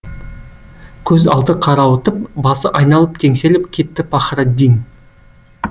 көз алды қарауытып басы айналып теңселіп кетті пахраддин